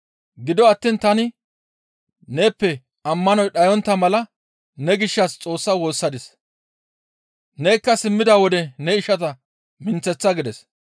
Gido attiin tani neeppe ammanoy dhayontta mala ne gishshas Xoossaa woossadis; nekka simmida wode ne ishata minththeththa» gides.